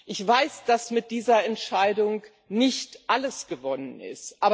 Ich weiß, dass mit dieser Entscheidung nicht alles gewonnen ist.